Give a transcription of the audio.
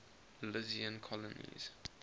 milesian colonies